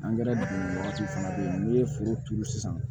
wagati fana bɛ yen n'i ye foro turu sisan